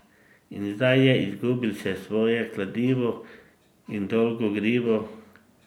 In zdaj je izgubil še svoje kladivo in dolgo grivo!